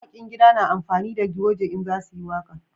Mawakin cikin gida na amfani da goje in za su yi waƙa